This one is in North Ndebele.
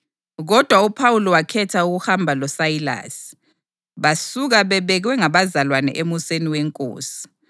kodwa uPhawuli wakhetha ukuhamba loSayilasi, basuka bebekwe ngabazalwane emuseni weNkosi.